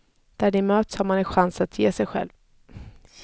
Där de möts har man en chans att se sig själv.